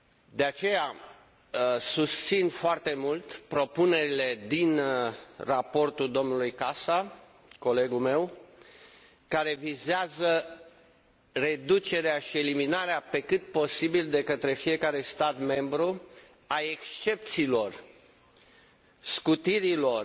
De aceea, susțin foarte mult propunerile din raportul domnului Casa, colegul meu, care vizează reducerea și eliminarea, pe cât posibil de către fiecare stat membru, a excepțiilor, scutirilor și